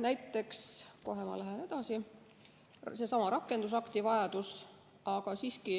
Näiteks – kohe ma lähen edasi – seesama rakendusakti vajadus, aga siiski